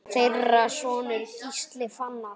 Þeirra sonur er Gísli Fannar.